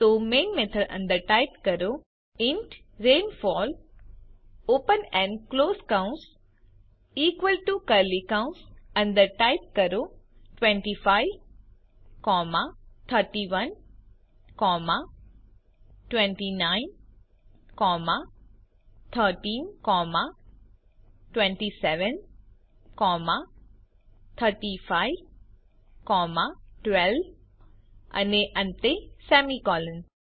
તો main method અંદર type કરો ઇન્ટ રેનફોલ ઓપન અને ક્લોસ કૌંસ ઇકવલ ટુ કર્લી કૌંસ અંદર ટાઇપ કરો 25 31 29 13 27 35 12 અને અંતે સેમીકોલન